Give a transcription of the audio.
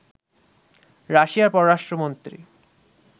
রাশিয়ার পররাষ্ট্রমন্ত্রী